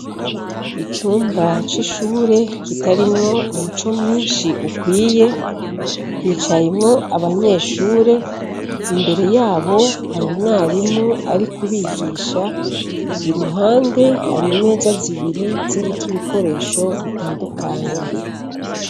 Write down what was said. Icumba c' ishure kitarimwo umuco mwinshi ukwiye hicayemwo abanyeshure imbere yabo hari umwarimu ari kubigisha i ruhande hari meza zibiri ziriko ibikoresho bitandukanye.